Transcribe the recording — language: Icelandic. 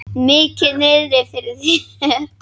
Mikið niðri fyrir.